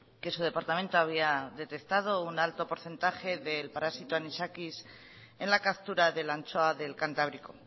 que su departamento había detectado un alto porcentaje del parásito anisakis en la captura de la anchoa del cantábrico